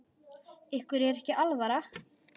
Ykkur er ekki alvara!